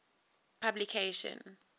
publication